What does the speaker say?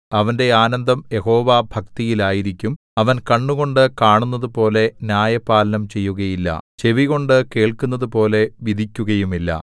അവന്റെ ആനന്ദം യഹോവാഭക്തിയിൽ ആയിരിക്കും അവൻ കണ്ണുകൊണ്ട് കാണുന്നതുപോലെ ന്യായപാലനം ചെയ്യുകയില്ല ചെവികൊണ്ട് കേൾക്കുന്നതുപോലെ വിധിക്കുകയുമില്ല